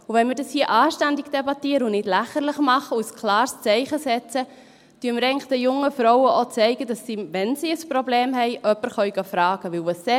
Wenn wir es hier anständig debattieren und es nicht lächerlich machen und ein klares Zeichen setzen, zeigen wir den jungen Frauen eigentlich auch, dass sie, wenn sie ein Problem haben, jemanden fragen können.